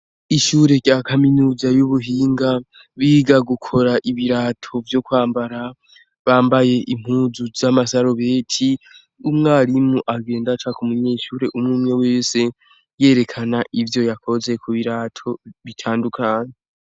Ishure rya kaminuza y'ubuhinga biga gukora ibirato vyo kwambara, bambaye impuzu z'amasarubeti. Umwarimu agenda aca k'umunyeshure umwumwe wese yerekana ivyoyakoze kubirato bitandukanye.